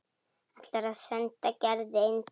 Ætlar að senda Gerði eintak.